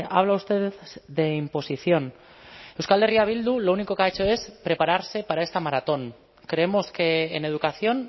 habla usted de imposición euskal herria bildu lo único que ha hecho es prepararse para esta maratón creemos que en educación